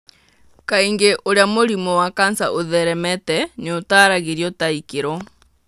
Kaingĩ ũrĩa mũrimũ wa kanca ũtheremeete nĩ ũtaaragĩrio ta ikĩro.